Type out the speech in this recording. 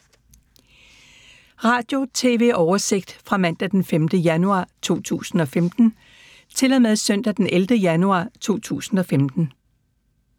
Radio/TV oversigt fra mandag d. 5. januar 2015 til søndag d. 11. januar 2015